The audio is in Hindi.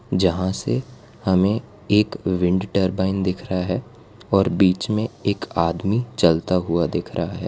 जहां से हमें एक विंड टरबाइन दिख रहा है और बीच में एक आदमी चलता हुआ दिख रहा है।